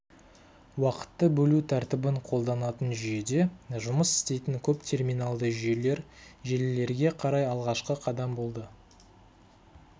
уақытты бөлу тәртібін қолданатын жүйеде жұмыс істейтін көп терминалды жүйелер желілерге қарай алғашқы қадам болды